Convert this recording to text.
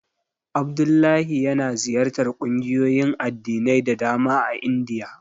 Abdullahi yana ziyartar ƙungiyoyin addinai da dama a Indiya.